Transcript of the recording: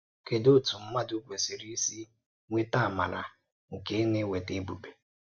Kedù òtu mmadụ kwesiri isi nweèta amara nke na-eweta èbube?